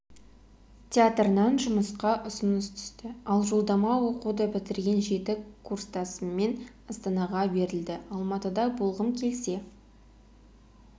театрынан жұмысқа ұсыныс түсті ал жолдама оқуды бітірген жеті курстасыммен астанаға берілді алматыда болғым келсе